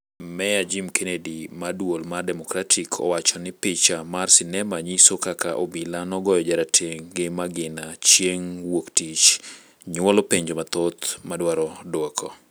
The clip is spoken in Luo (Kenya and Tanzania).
Meya Jim Kenney, mar duol mar Demokratik, owacho ni picha mar sinema nyiso kaka obila nogoyo jarateng' gi magina chieng' wuok tich nyuolo penjo mathoth ma dwaro duoko